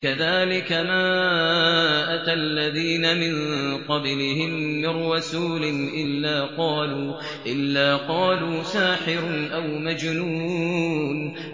كَذَٰلِكَ مَا أَتَى الَّذِينَ مِن قَبْلِهِم مِّن رَّسُولٍ إِلَّا قَالُوا سَاحِرٌ أَوْ مَجْنُونٌ